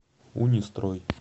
унистрой